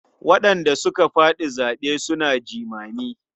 Waɗanda suka faɗi zaɓe suna jimami.